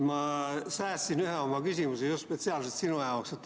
Ma säästsin ühe oma küsimuse spetsiaalselt sinu jaoks.